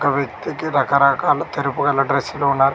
ఒక వ్యక్తికి రకరకాల తెరుపు గల డ్రెస్సులు ఉన్న--